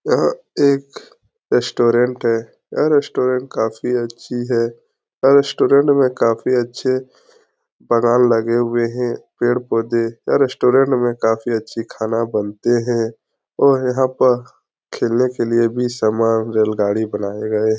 यह एक रेस्टोरेंट है यह रेस्टोरेंट काफी अच्छी है यह रेस्टोरेंट में काफी अच्छे पंडाल लगे हुए हैं पेड़-पौधे यह रेस्टोरेंट में काफी अच्छी खाना बनते हैं और यहां पर खेलने के लिए भी सामान रेलगाड़ी बनाए हुए हैं।